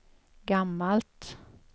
gammalt